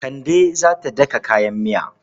Kande za ta daka kayan miya.